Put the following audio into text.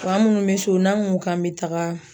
Fa munnu be so n'an ko k'an be taga.